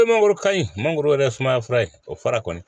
E mangoro ka ɲi mangoro yɛrɛ ye sumaya fura ye o fara kɔni